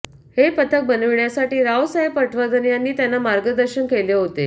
हे पथक बनविण्यासाठी रावसाहेब पटवर्धन यांनी त्यांना मार्गदर्शन केले होते